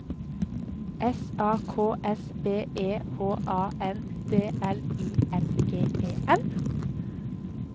S A K S B E H A N D L I N G E N